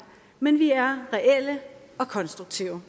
men vi er reelle og konstruktive